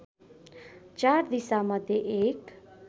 चार दिशामध्ये एक